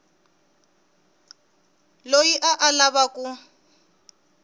loyi a a lava ku